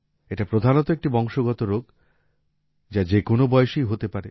এটি প্রধানত একটি বংশগত রোগ যা যে কোন বয়সেই হতে পারে